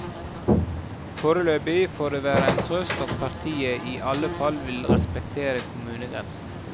Foreløpig får det være en trøst at partiet i alle fall vil respektere kommunegrensen.